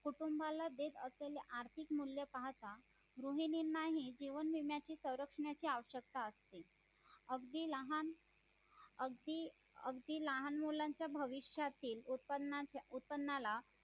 कुटुंबाला देत असलेले आर्थिक मूल्य पाहता गृहिणींना ही जीवन विम्याची संरक्षणाची आवश्यकता असते अगदी लहान अगदी अगदी लहान मुलांच्या भविष्यातील उत्पन्नाला